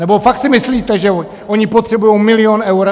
Nebo fakt si myslíte, že oni potřebují milion eur?